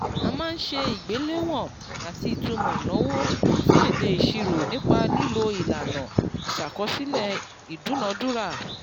a máa ń ṣe ìgbéléwọ̀n àti ìtumò ìnáwó sí èdè ìṣirò nípa lílo ìlànà ìṣàkọsílẹ̀ ìdúnadúrà